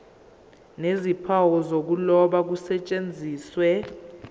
nezimpawu zokuloba kusetshenziswe